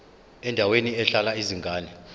endaweni ehlala izingane